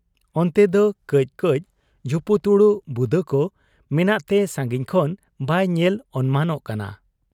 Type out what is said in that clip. ᱚᱱᱛᱮᱫᱚ ᱠᱟᱹᱡ ᱠᱟᱹᱡ ᱡᱷᱩᱯᱩᱛᱩᱲᱩᱜ ᱵᱩᱫᱟᱹᱠᱚ ᱢᱮᱱᱟᱜ ᱛᱮ ᱥᱟᱺᱜᱤᱧ ᱠᱷᱚᱱ ᱵᱟᱭ ᱧᱮᱞ ᱚᱱᱢᱟᱱᱚᱜ ᱠᱟᱱᱟ ᱾